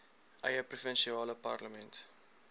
eie provinsiale parlement